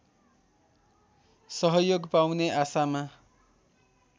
सहयोग पाउने आशामा